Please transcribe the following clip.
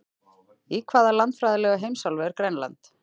Í hvaða landfræðilegu heimsálfu er Grænland?